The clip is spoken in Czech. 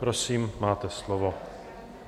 Prosím, máte slovo.